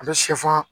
A bɛ sɛfan